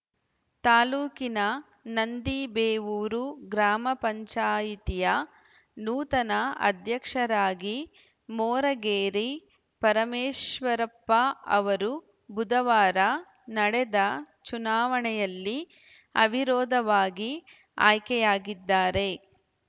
ತಾಲೂಕಿನ ನಂದಿಬೇವೂರು ಗ್ರಾಮ ಪಂಚಾಯಿತಿಯ ನೂತನ ಅಧ್ಯಕ್ಷರಾಗಿ ಮೋರಗೇರೆ ಪರಮೇಶ್ವರಪ್ಪ ಅವರು ಬುಧವಾರ ನಡೆದ ಚುನಾವಣೆಯಲ್ಲಿ ಅವಿರೋಧವಾಗಿ ಆಯ್ಕೆಯಾಗಿದ್ದಾರೆ